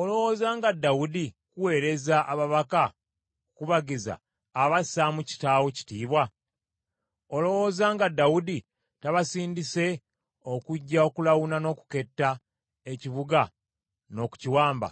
“Olowooza nga Dawudi okukuweereza ababaka okukubagiza, aba assaamu kitaawo kitiibwa? Olowooza nga Dawudi tabasindise okujja okulawuna n’okuketta ekibuga n’okukiwamba?”